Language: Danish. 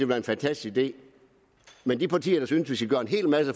være en fantastisk idé men de partier der synes